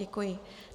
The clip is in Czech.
Děkuji.